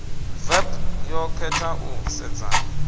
vep yo khetha u sedzana